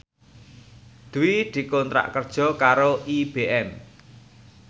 Dwi dikontrak kerja karo IBM